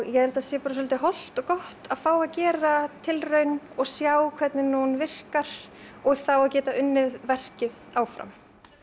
ég held að það sé svolítið hollt og gott að fá að gera tilraun og sjá hvernig hún virkar og þá að geta unnið verkið áfram